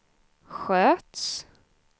sköts